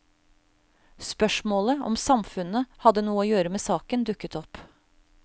Spørsmålet om samfunnet hadde noe å gjøre med saken, dukket opp.